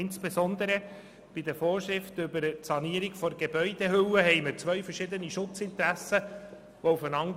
Insbesondere bei den Vorschriften über die Sanierung der Gebäudehülle prallen zwei verschiedene Schutzinteressen aufeinander.